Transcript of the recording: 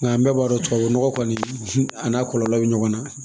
Nka an bɛɛ b'a dɔn tubabu nɔgɔ kɔni a n'a kɔlɔlɔ bɛ ɲɔgɔn na